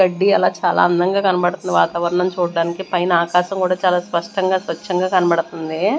కడ్డియల చాలా అందంగా కనబడుతుంది వాతావరణం చూడడానికి పైన ఆకాశం కూడా చాల స్పష్టంగా స్వచ్ఛంగా కనబడుతుందీ.